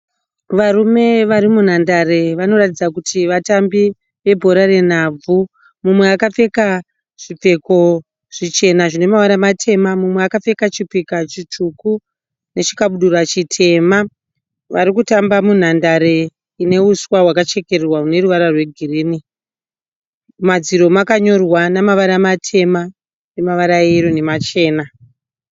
Varume vari munhandare. Vanoratidza kuti vatambi vebhora renhabvu. Mumwe akapfeka zvipfeko zvichena zvine mavara matema, umwe akapfeka chipika chitsvuku nechikabudura chitema. Vari kutamba munhandare ine huswa hwakachekererwa rune ruvara rwegirini. Mumadziro makanyorwa nevara matema nemavara eyero nemachena.